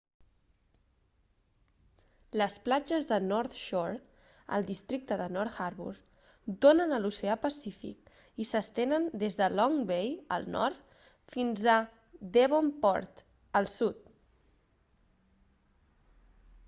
les platges de north shore al districte de north harbour donen a l'oceà pacífic i s'estenen des de long bay al nord fins a devonport al sud